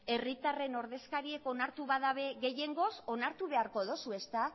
herritarren ordezkariek onartu badabe gehiengoz onartu beharko dozu ezta